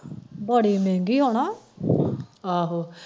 ਬੜੀ ਮਹਿਗੀ ਹਨਾ ਆਹੋ